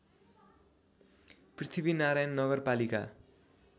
पृथ्वीनारायण नगरपालिका